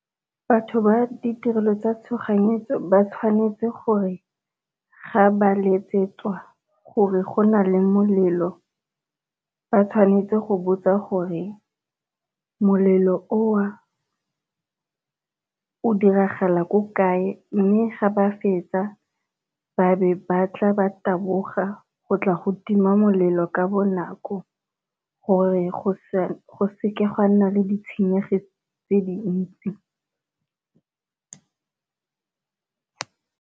Batho ba ditirelo tsa tshoganyetso ba tshwanetse gore ga ba letsetswa gore go na le molelo ba tshwanetse go botsa gore molelo o o o diragala ko kae, mme ga ba fetsa ba be ba tla ba taboga go tla go tima molelo ka bonako gore go seke ga nna le ditshenyego tse dintsi.